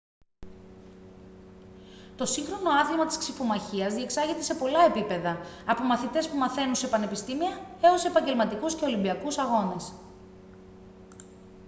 το σύγχρονο άθλημα της ξιφομαχίας διεξάγεται σε πολλά επίπεδα από μαθητές που μαθαίνουν σε πανεπιστήμια έως επαγγελματικούς και ολυμπιακούς αγώνες